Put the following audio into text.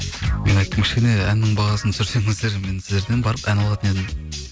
мен айттым кішкене әннің бағасын түсірсеңіздер мен сіздерден барып ән алатын едім